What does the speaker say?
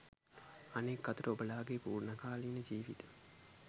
අනෙක් අතට ඔබලාගේ පූර්ණකාලීන ජීවිතය